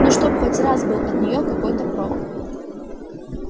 ну чтоб хоть раз был от нее какой-то прок